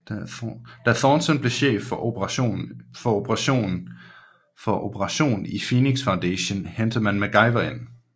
Da Thornton bliver cheff for operation i Phoenix Foundation henter han MacGyver ind